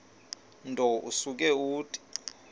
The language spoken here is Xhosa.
nto usuke uthi